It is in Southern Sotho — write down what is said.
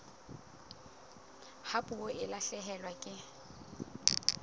ha puo e lahlehelwa ke